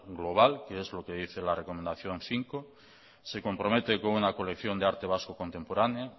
global que es lo que dice la recomendación cinco se compromete con una colección de arte vasco contemporáneo